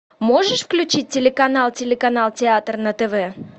можешь включить телеканал телеканал театр на тв